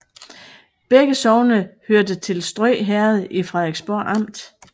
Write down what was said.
Begge sogne hørte til Strø Herred i Frederiksborg Amt